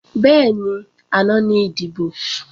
Bẹ́ẹ̀ni, àná ní ìdìbò